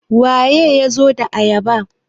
waye ya zo da ayabar?